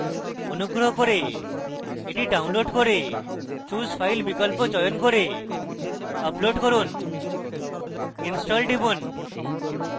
অনুগ্রহ করে এটি download করে choose file বিকল্প চয়ন করে upload করুন install টিপুন